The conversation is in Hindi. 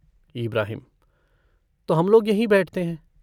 इब्राहिम - तो हम लोग यहीं बैठते हैं।